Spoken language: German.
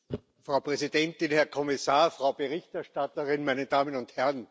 Frau Präsidentin, Herr Kommissar, Frau Berichterstatterin, meine Damen und Herren!